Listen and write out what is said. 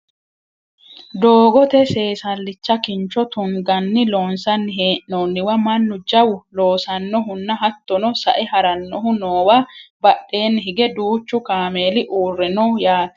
doogote seesallicha kincho tunganni loonsanni hee'noonniwa mannu jawu loosannohunna hattono sae harannohu noowa badheenni hige duuchu kameeli uurre no yaate